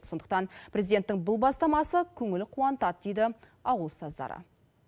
сондықтан президенттің бұл бастамасы көңіл қуантады дейді ауыл ұстаздары